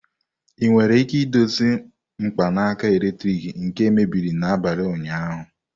Ị nwere ike idozi mkpanaka eletrik nke mebiri n'abalị ụnyaahụ?